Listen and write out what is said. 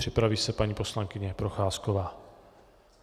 Připraví se paní poslankyně Procházková.